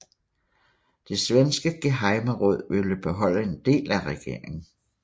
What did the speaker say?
Det svenske gehejmeråd ville beholde en del af regeringen